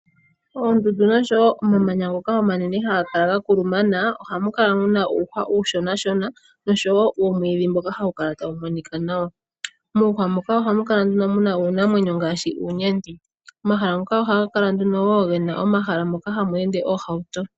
Oondundu noshowo omamanya ngoka omanene ga kuluma ya ohamu kala muna uuhwa uushonashona noshowo uumwidhi mboka hawu kala tawu monika nawa. Muuhwa muka ohamu kala uunamwenyo ngaashi uunyenti. Omahala moka ohamu kala wo oondjila moka hamu ende oohauto.